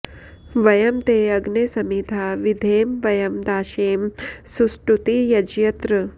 व॒यं ते॑ अग्ने स॒मिधा॑ विधेम व॒यं दा॑शेम सुष्टु॒ती य॑जत्र